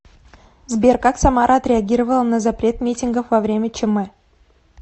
сбер как самара отреагировала на запрет митингов во время чм